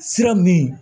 Sira min